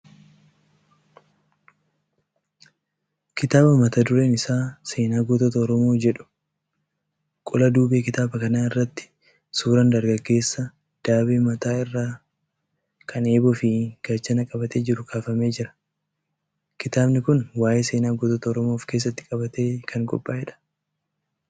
Kitaaba mata dureen isaa "Seenaa Gootota Oromoo" jedhu. Qola duubee kitaaba kanaa irratti suuraan dargaggeessa daabee mataa irraa kan eeboo fi gaachana qabatee jiruu kaafamee jira. Kitaabni kun waa'ee seenaa gootota Oromoo ofkeessatti qabatee kan qophaa'edha.